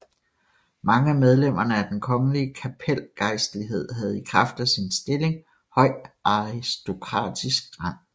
Mange af medlemmerne af den kongelige kapelgejstlighed havde i kraft af sin stilling høj aristokratisk rang